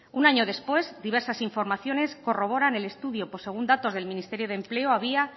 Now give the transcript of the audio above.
un año después diversas informaciones corroboran el estudio pues según datos del ministerio de empleo había